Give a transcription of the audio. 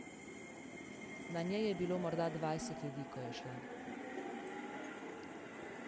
Na njej je bilo morda dvajset ljudi, ko je šla.